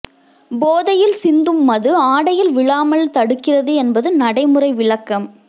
போதையில் சிந்தும் மது ஆடையில் விழாமல் தடுக்கிறது என்பது நடைமுறை விளக்கம்